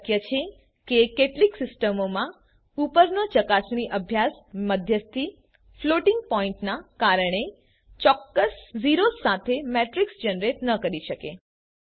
એ શક્ય છે કે કેટલીક સિસ્ટમોમાં ઉપરનો ચકાસણી અભ્યાસ મધ્યસ્થી ફ્લોટિંગ પોઇન્ટના કારણે ચોક્કસ ઝેરોસ સાથે મેટ્રિક્સ જનરેટ ન કરી શકે